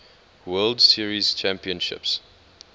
world series championships